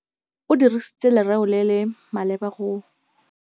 O dirisitse lerêo le le maleba go